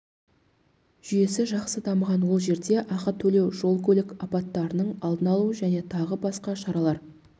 жүйесі жақсы дамыған ол жерде ақы төлеу жол-көлік апаттарының алдын алу және тағы басқа шаралар